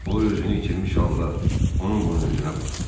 O özünü itirmiş halda onun bunun üzünə baxdı.